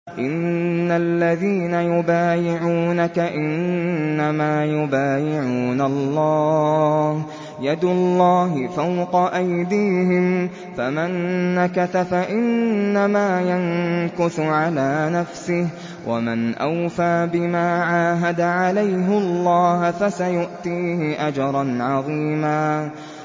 إِنَّ الَّذِينَ يُبَايِعُونَكَ إِنَّمَا يُبَايِعُونَ اللَّهَ يَدُ اللَّهِ فَوْقَ أَيْدِيهِمْ ۚ فَمَن نَّكَثَ فَإِنَّمَا يَنكُثُ عَلَىٰ نَفْسِهِ ۖ وَمَنْ أَوْفَىٰ بِمَا عَاهَدَ عَلَيْهُ اللَّهَ فَسَيُؤْتِيهِ أَجْرًا عَظِيمًا